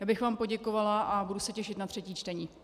Já bych vám poděkovala a budu se těšit na třetí čtení.